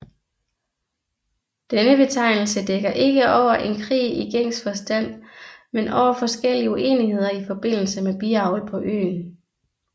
Denne betegnelse dækker ikke over en krig i gængs forstand men over forskellige uenigheder i forbindelse med biavl på øen